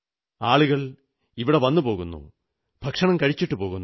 ആളുകൾ ഇവിടെ പോവുന്നു ഭക്ഷണം കഴിച്ചിട്ടു പോകുന്നു